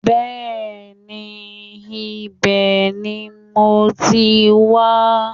Bẹ́ẹ̀ni ibẹ̀ ni mo ti wá